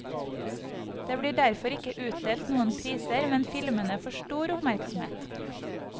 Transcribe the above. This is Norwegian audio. Det blir derfor ikke utdelt noen priser, men filmene får stor oppmerksomhet.